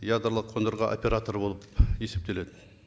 ядролық қондырғы операторы болып есептеледі